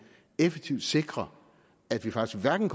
effektivt kan sikre at det faktisk hverken